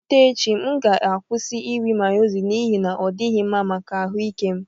Site echi m ga-akwụsị iri Mayonezi n'ihi na ọ dịghị mma maka ahụ ike m